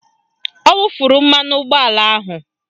Ọ wufuru mmanụ ụgbọala ahụ